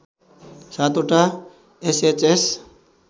७ ओटा एसएचएस